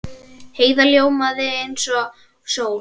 Heiða ljómaði eins og sól.